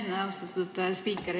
Aitäh, austatud spiiker!